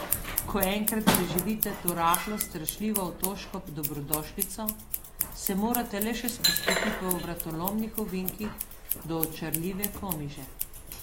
Ko enkrat preživite to rahlo strašljivo otoško dobrodošlico, se morate le še spustiti po vratolomnih ovinkih do očarljive Komiže.